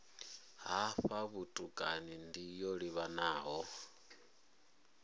hafha vhutukani ndi yo livhanaho